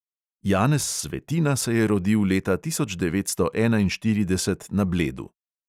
Janez svetina se je rodil leta tisoč devetsto enainštirideset na bledu.